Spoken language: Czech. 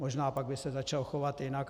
Možná pak by se začal chovat jinak.